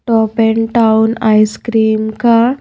top and town ice cream का--